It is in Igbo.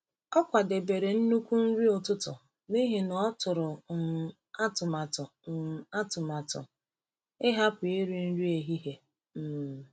Ọ kwadebere nnukwu nri ụtụtụ n’ihi na ọ tụrụ um atụmatụ um atụmatụ ịhapụ iri nri ehihie. um